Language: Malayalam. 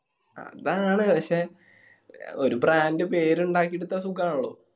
അതാണ്. പക്ഷെ ഒരു brand പേര് ഇണ്ടാക്കി എടുത്ത സുഖാണല്ലോ